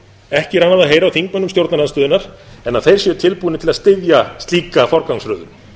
ekki er annað að heyra á þingmönnum stjórnarandstöðunnar en að þeir séu tilbúnir til að styðja slíka forgangsröðun